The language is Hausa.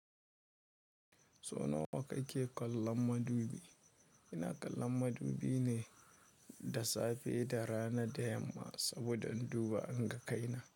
So nawa kake kallon madubi? Ina kallon madubi ne da safe, da rana da yamma saboda in duba inga kaina.